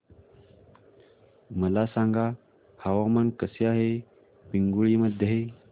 मला सांगा हवामान कसे आहे पिंगुळी मध्ये